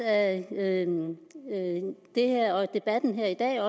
af det her og af debatten i dag at